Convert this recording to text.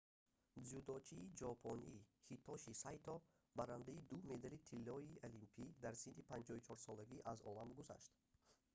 дзюдочии ҷопонӣ ҳитоши сайто барандаи ду медали тиллои олимпӣ дар синни 54-солагӣ аз олам гузашт